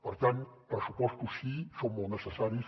per tant pressupostos sí són molt necessaris